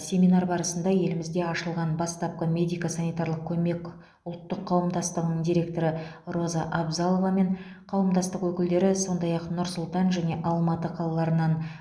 семинар барысында елімізде ашылған бастапқы медико санитарлық көмек ұлттық қауымдастығының директоры роза абзалова мен қауымдастық өкілдері сондай ақ нұр сұлтан және алматы қалаларынан